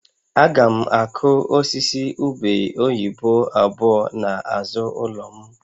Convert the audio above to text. Aga m akụ osisi ube oyibo abụọ n'azụ ụlọ m